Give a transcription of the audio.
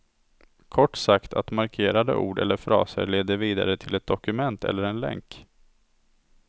Kort sagt att markerade ord eller fraser leder vidare till ett dokument eller en länk.